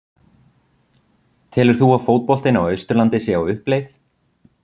Telur þú að fótboltinn á Austurlandi sé á uppleið?